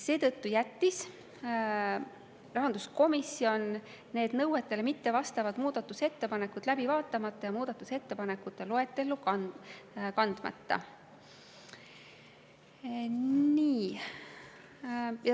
Seetõttu jättis rahanduskomisjon need nõuetele mittevastavad muudatusettepanekud läbi vaatamata ja muudatusettepanekute loetellu kandmata.